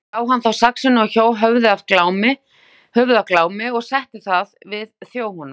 Brá hann þá saxinu og hjó höfuð af Glámi og setti það við þjó honum.